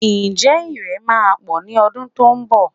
Ǹjẹ́ Ìrẹ̀ máa pọ̀ ní ọdún tó ń bọ̀?